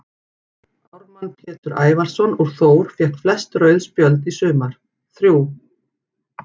Ármann Pétur Ævarsson úr Þór fékk flest rauð spjöld í sumar, þrjú.